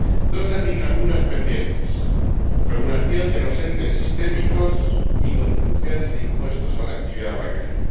Dos asignaturas pendientes la regulación de los entes sistémicos y las contribuciones e impuestos a la actividad bancaria.